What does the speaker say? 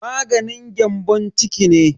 Maganin gyambon ciki ne.